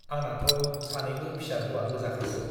आंनाथ' सानैबो फिसा हौवा गोजाखासो।